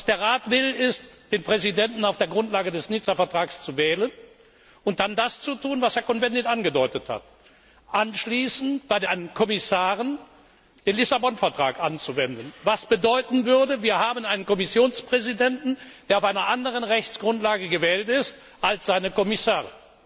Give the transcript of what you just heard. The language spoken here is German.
Der Rat will den Präsidenten auf der Grundlage des Nizza Vertrags wählen und dann das tun, was Herr Cohn Bendit angedeutet hat, nämlich anschließend bei den Kommissaren den Lissabon Vertrag anwenden, was bedeuten würde, dass wir einen Kommissionspräsidenten haben, der auf einer anderen Rechtsgrundlage gewählt ist als seine Kommissare